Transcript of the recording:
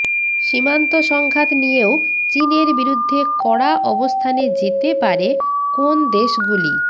সীমান্ত সংঘাত নিয়েও চিনের বিরুদ্ধে কড়া অবস্থানে যেতে পারে কোন দেশ গুলি